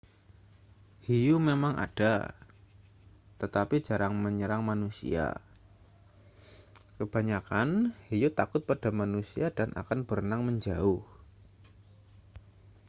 hiu memang ada tetapi jarang menyerang manusia kebanyakan hiu takut pada manusia dan akan berenang menjauh